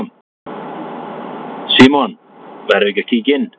Símon: Verðum við ekki að kíkja inn?